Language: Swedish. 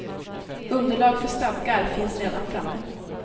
Underlag för stadgar finns redan framme.